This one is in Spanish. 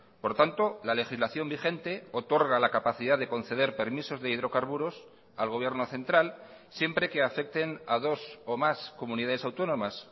por tanto la legislación vigente otorga la capacidad de conceder permisos de hidrocarburos al gobierno central siempre que afecten a dos o más comunidades autónomas